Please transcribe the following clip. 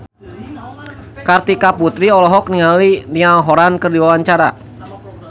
Kartika Putri olohok ningali Niall Horran keur diwawancara